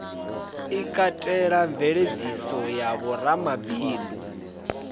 i katelaho mveladziso ya vhoramabindu